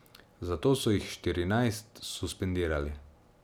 Zato so jih štirinajst suspendirali.